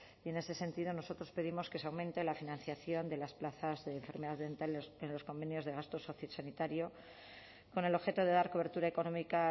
y en ese sentido nosotros pedimos que se aumente la financiación de las plazas de enfermedades mentales en los convenios de gasto sociosanitario con el objeto de dar cobertura económica